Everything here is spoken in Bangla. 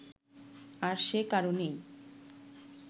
আর সে কারনেই